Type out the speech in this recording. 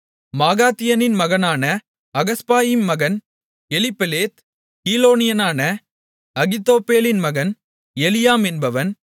மாகாத்தியனின் மகனான அகஸ்பாயிம் மகன் எலிப்பெலேத் கீலோனியனான அகித்தோப்பேலின் மகன் எலியாம் என்பவன்